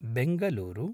Bengaluru